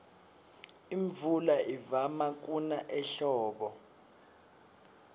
imvula ivama kuna ehlobo